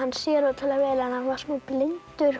sér ótrúlega vel hann hann var smá blindur